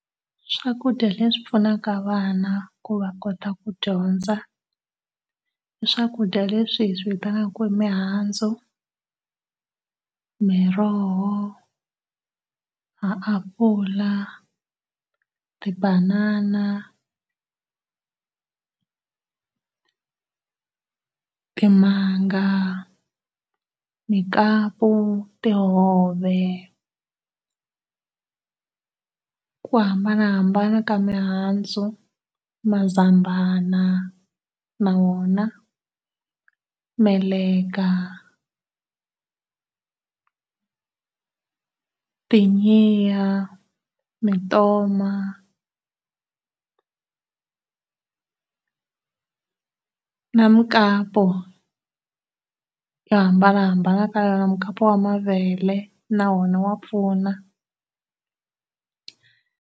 Swakudya leswi pfunaka vana ku va kota ku dyondza i swakudya leswi hi swi vitanaka ku i mihandzu, miroho, ma apula, ti banana, timanga, mukapu, tihove, ku hambanahambana ka mihandzu, mazambana na wona, meleka, mitoma, na mukapu yo hambanahambana ka yona mukapu wa mavele na wona wa pfuna.